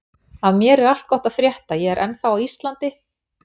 Af mér er allt gott að frétta, ég er ennþá á Íslandi.